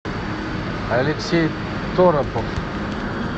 алексей торопов